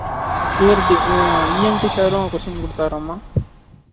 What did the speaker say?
theority ஆஹ் EMT sir ரும் question குடுத்தாராமா